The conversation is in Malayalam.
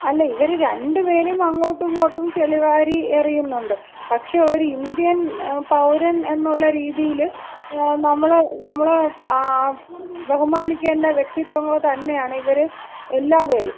അല്ല, ഇവര് രണ്ടുപേരും അങ്ങോട്ടുമിങ്ങോട്ടും ചെളിവാരി എറിയുന്നുണ്ട്. പക്ഷേ ഒരു ഇന്ത്യൻ പൗരൻ എന്നുള്ള രീതിയിൽ നമ്മള് നമ്മള് ബഹുമാനിക്കേണ്ട വ്യക്തിത്വങ്ങൾ തന്നെയാണ് ഇവര് എല്ലാപേരും.